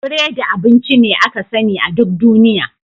Biredi abinci ne aka sani a duk duniya.